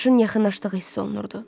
Qışın yaxınlaşdığı hiss olunurdu.